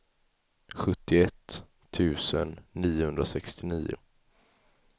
sjuttioett tusen niohundrasextionio